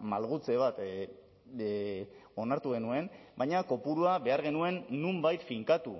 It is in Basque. malgutze bat onartu genuen baina kopurua behar genuen nonbait finkatu